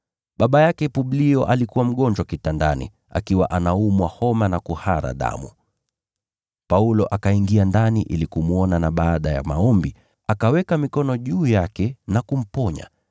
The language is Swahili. Baba yake Publio alikuwa mgonjwa kitandani, akiwa anaumwa homa na kuhara damu. Paulo akaingia ndani ili kumwona na baada ya maombi, akaweka mikono juu yake na kumponya.